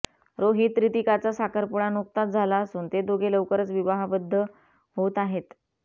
रोहित रितिकाचा साखरपुडा नुकताच झाला असून ते दोघे लवकरच विवाहबद्ध होत आहेत